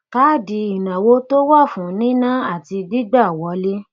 káàdì ìnáwó tó wà fún níná àti gbígbà wọlé